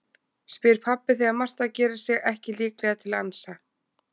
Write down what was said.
spyr pabbi þegar Marta gerir sig ekki líklega til að ansa.